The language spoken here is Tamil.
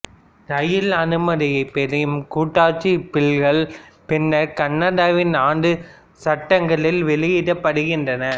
ராயல் அனுமதியைப் பெறும் கூட்டாட்சி பில்கள் பின்னர் கனடாவின் ஆண்டு சட்டங்களில் வெளியிடப்படுகின்றன